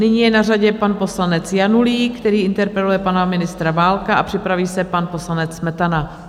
Nyní je na řadě pan poslanec Janulík, který interpeluje pana ministra Válka, a připraví se pan poslanec Smetana.